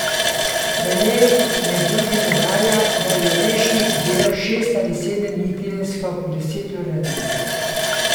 V njej med drugim navaja, da je Lešnik delal šest ali sedem dni tedensko po deset ur na dan.